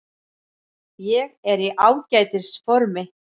Ég er í ágætis formi.